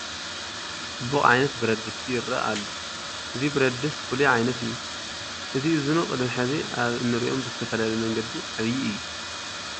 ፅቡቕ ዓይነት ብረድስቲ ይርአ ኣሎ፡፡ እዚ ብረድስት ፍሉይ ዓይነት እዩ፡፡ እቲ ዕዝኑ ቅድሚ ሕዚ ኣብ እንሪኦም ብዝተፈለየ መንገዲ ዓብዪ እዩ፡፡